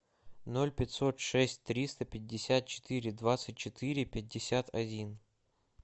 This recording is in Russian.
ноль пятьсот шесть триста пятьдесят четыре двадцать четыре пятьдесят один